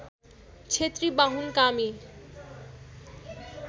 क्षेत्री Bahun कामी